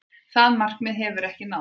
Það markmið hefur ekki náðst.